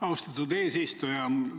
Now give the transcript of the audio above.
Austatud eesistuja!